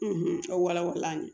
wala wala an ye